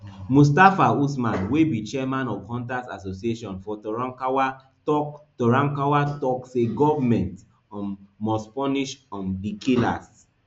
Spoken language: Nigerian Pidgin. mustapha usman wey be chairman of hunters association for torankawa tok torankawa tok say goment um must punish um di killers